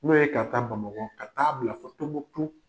N'o ye ka taa Bamakɔ, ka taa bila fo Tombouctou.